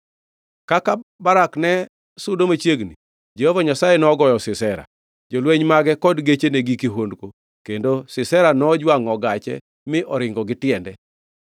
Kaka Barak ne sudo machiegni, Jehova Nyasaye nogoyo Sisera, jolweny mage kod gechene gi kihondko kendo Sisera nojwangʼo gache mi oringo gi tiende.